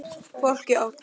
Fólkið á þá.